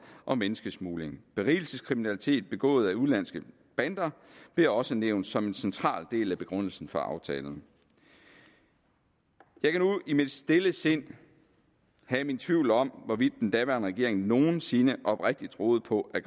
og menneskesmugling berigelseskriminalitet begået af udenlandske bander blev også nævnt som en central del af begrundelsen for aftalen jeg kan nu i mit stille sind have min tvivl om hvorvidt den daværende regering nogen sinde oprigtigt troede på at